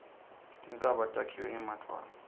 tintsaba takhiwe ngemadvwala